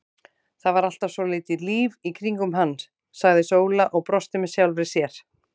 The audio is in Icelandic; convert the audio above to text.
Það var alltaf svolítið líf í kringum hann, sagði Sóla og brosti með sjálfri sér.